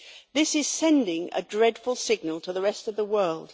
This is sending a dreadful signal to the rest of the world.